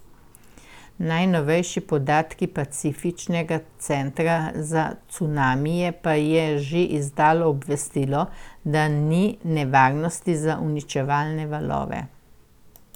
Najnovejši podatki Pacifiškega centra za cunamije pa je že izdalo obvestilo, da ni nevarnosti za uničevalne valove.